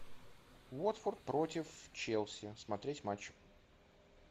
уотфорд против челси смотреть матч